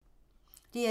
DR2